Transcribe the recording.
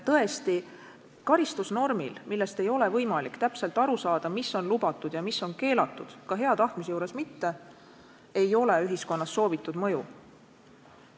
Tõesti, karistusnormil, mille puhul ei ole ka hea tahtmise korral võimalik täpselt aru saada, mis on lubatud ja mis on keelatud, ei ole ühiskonnas soovitud mõju.